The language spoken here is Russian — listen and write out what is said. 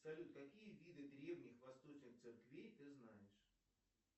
салют какие виды древних восточных церквей ты знаешь